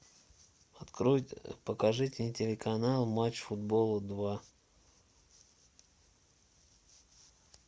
открой покажите телеканал матч футбол два